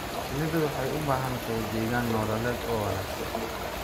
Shinnidu waxay u baahan tahay deegaan nololeed oo wanaagsan.